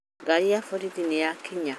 Ngari ya borithi nĩyakinya